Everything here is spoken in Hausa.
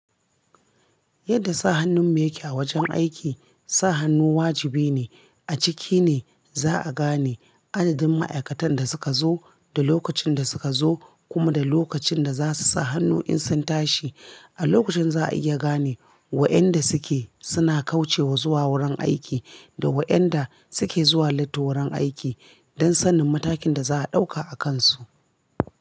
Yadda sa hannun me yake a wajen aiki, sa hannu wajibi ne. A ciki ne za'a gane adadin ma'aikatan da suka zo da lokacin da suka zo kuma da lokacin da za su sa hannu in sun tashi. A lokacin za'a iya gane wa'yanda suke suna kaucewa zuwa wurin aiki da wa'yanda suke zuwa latti wurin aiki don sanin matakin da za'a ɗauka a kansu.